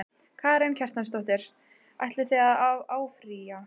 Karen Kjartansdóttir: Ætlið þið að áfrýja?